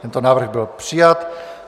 Tento návrh byl přijat.